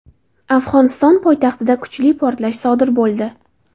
Afg‘oniston poytaxtida kuchli portlash sodir bo‘ldi.